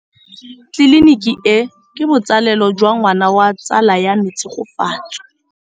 Tleliniki e, ke botsalêlô jwa ngwana wa tsala ya me Tshegofatso.